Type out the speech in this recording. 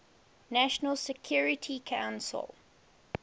nations security council